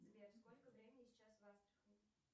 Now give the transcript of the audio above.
сбер сколько времени сейчас в астрахани